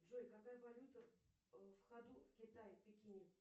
джой какая валюта в ходу в китае в пекине